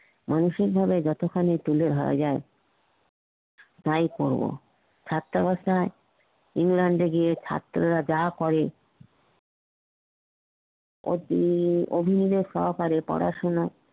মানসিক ভাবে যতখানি তুলে ধরা যায় তাই করবো ছাত্রাবস্থাই ইংল্যান্ডে গিয়ে ছাত্রা রা যা করে অভিবাবক সহকারে পড়াশুনো